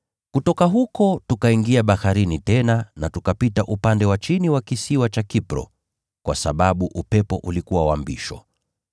Kutoka huko tukaingia baharini tena na tukapita upande wa chini wa kisiwa cha Kipro kwa sababu upepo ulikuwa wa mbisho.